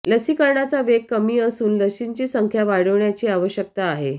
लसीकरणाचा वेग कमी असून लशींची संख्या वाढवण्याची आवश्यकता आहे